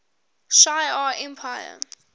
shi ar empire